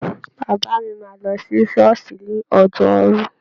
Bàbá mi máa lọ sí ṣọ́ọ̀ṣì ní Ọjọ́rú.